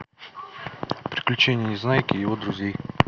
приключения незнайки и его друзей